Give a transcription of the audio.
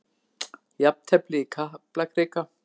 Jafntefli í Kaplakrika